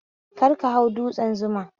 Kar ka hau dutsen Zuma